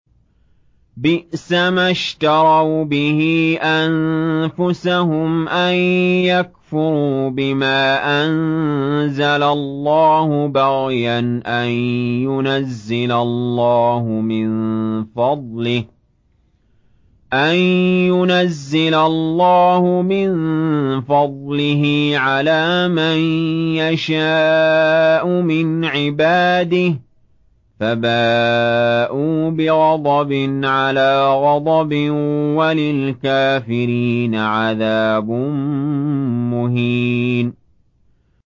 بِئْسَمَا اشْتَرَوْا بِهِ أَنفُسَهُمْ أَن يَكْفُرُوا بِمَا أَنزَلَ اللَّهُ بَغْيًا أَن يُنَزِّلَ اللَّهُ مِن فَضْلِهِ عَلَىٰ مَن يَشَاءُ مِنْ عِبَادِهِ ۖ فَبَاءُوا بِغَضَبٍ عَلَىٰ غَضَبٍ ۚ وَلِلْكَافِرِينَ عَذَابٌ مُّهِينٌ